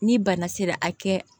Ni bana sera a kɛ